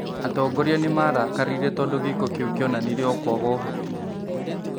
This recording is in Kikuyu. Atongoria nĩmarakarire tondũ gĩĩko kĩu kĩonanirie o kwaga ũhoti